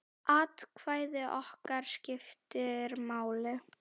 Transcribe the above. Atkvæði okkar skiptir máli.